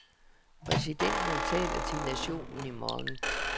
Præsidenten taler til nationen i morgen.